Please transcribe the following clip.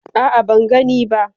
A'a ban gani ba.